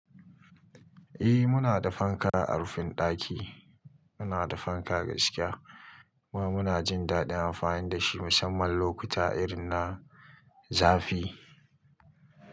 Eh muna da fanka a rufin ɗaki. Muna da fanka gaskiya kuma muna jin daɗin amfani da shi musamman lokuta irin na zafi.